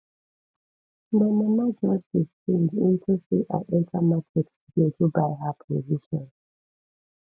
my mama just dey sing into say i enta market today go buy her provision